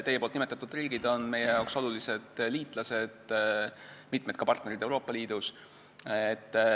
Teie nimetatud riigid on meie olulised liitlased, mitmed ka partnerid Euroopa Liidus.